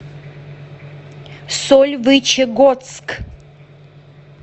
сольвычегодск